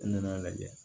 N nana lajɛ